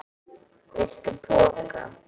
Viltu poka?